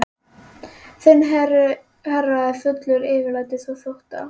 Þinn herra er fullur yfirlætis og þótta.